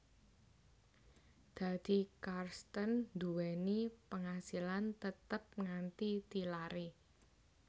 Dadi Carstenn nduwèni pangasilan tetep nganti tilaré